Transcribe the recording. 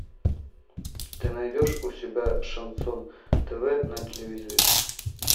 ты найдешь у себя шансон тв на телевизоре